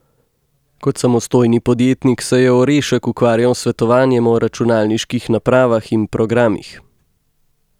Kot samostojni podjetnik se je Orešek ukvarjal s svetovanjem o računalniških napravah in programih.